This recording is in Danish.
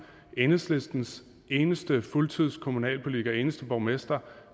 at enhedslistens eneste fuldtidskommunalpolitiker den eneste borgmester